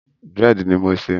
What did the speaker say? Dírẹ̀dì ni mò ń ṣe.